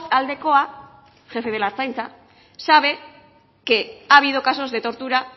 aldecoa jefe de la ertzaintza sabe que ha habido casos de tortura